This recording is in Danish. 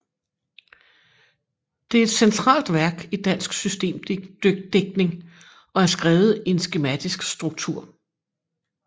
Det er et centralt værk i dansk systemdigtning og er skrevet i en skematisk struktur